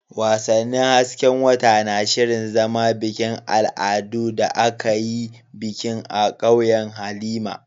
Wasannin hasken wata na shirin zama bikin al'adu da aka yi bikin a ƙauyen Halima.